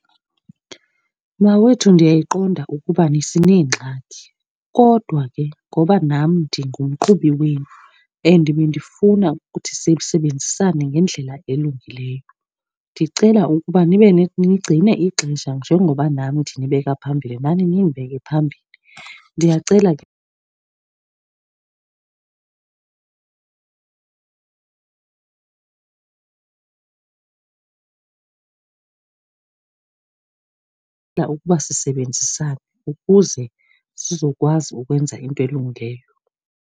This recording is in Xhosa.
Mawethu, ndiyayiqonda ukubana sineengxaki kodwa ke ngoba nam ndingumqhubi wenu and bendifuna ukuthi sisebenzisane ngendlela elungileyo, ndicela ukuba nibe , nigcine ixesha. Njengoba nam ndinibeka phambili, nani nindibeke phambili. Ndiyacela ke ukuba sisebenzisane ukuze sizokwazi ukwenza into elungileyo.